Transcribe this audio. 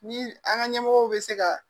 Ni an ka ɲɛmɔgɔw bɛ se ka